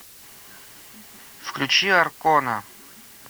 включи аркона